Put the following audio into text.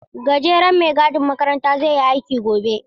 Gajeren mai gadin makaranta zai yi aiki gobe.